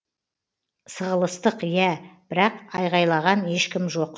сығылыстық иә бірақ айғайлаған ешкім жоқ